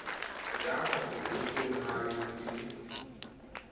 ya mapoleseng ha e le